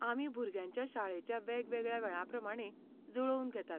आमी भुरग्यांच्या शाळेच्या वेगवेगळ्या वेळां प्रमाणें जुळोवन घेतात.